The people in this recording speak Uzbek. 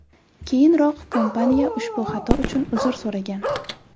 Keyinroq kompaniya ushbu xato uchun uzr so‘ragan .